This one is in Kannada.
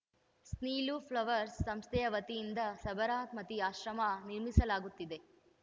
ಸ್ನೀಲು ಫ್ಲವರ್ಸ್‌ ಸಂಸ್ಥೆಯ ವತಿಯಿಂದ ಸಾಬರಮತಿ ಆಶ್ರಮ ನಿರ್ಮಿಸಲಾಗುತ್ತಿದೆ